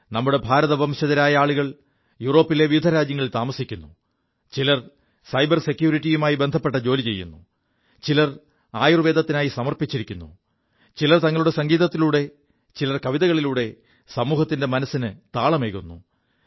നമ്മുടെ ഭാരതവംശജരായ ആളുകൾ യൂറോപ്പിലെ വിവിധ രാജ്യങ്ങളിൽ താമസിക്കുു ചിലർ സൈബർ സെക്യൂരിറ്റിയുമായി ബന്ധപ്പെ ജോലി ചെയ്യുു ചിലർ ആയുർവ്വേദത്തിനായി സമർപ്പിച്ചിരിക്കുു ചിലർ തങ്ങളുടെ സംഗീതത്തിലൂടെ ചിലർ കവിതകളിലൂടെ സമൂഹത്തിന്റെ മനസ്സിന് താളമേകുു